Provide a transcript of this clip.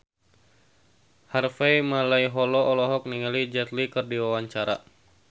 Harvey Malaiholo olohok ningali Jet Li keur diwawancara